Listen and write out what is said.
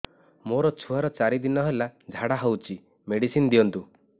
ମୋର ଛୁଆର ଚାରି ଦିନ ହେଲା ଝାଡା ହଉଚି ମେଡିସିନ ଦିଅନ୍ତୁ